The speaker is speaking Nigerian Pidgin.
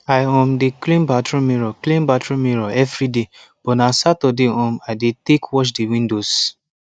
i um dey clean bathroom mirror clean bathroom mirror evriday but na saturday um i dey tek wash de windows